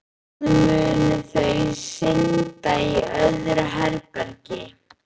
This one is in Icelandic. Bráðum munu þau synda í öðru herbergi.